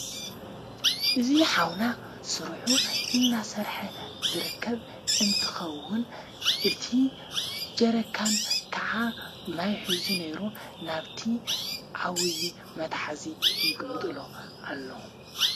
እዝ ኃውና ሥርሑ እናሠርሐ ዝረከብ እንትኸውን፤ እቲ ጀረካን ከዓ ማይኂዙ ነይሩ ።ናብቲ ዓዊዪ መታሓእዚ ይግምጥሎ ኣሎ።